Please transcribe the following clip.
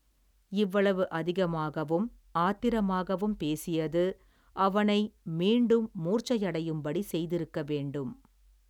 இவ்வளவு அதிகமாகவும் ஆத்திரமாகவும் பேசியது அவனை மீண்டும் மூர்ச்சையடையும்படி செய்திருக்க வேண்டும்.